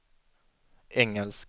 engelsk